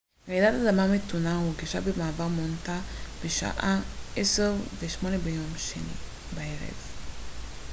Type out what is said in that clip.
רעידת אדמה מתונה הורגשה במערב מונטנה בשעה 22:08 ביום שני